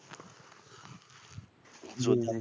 হম হম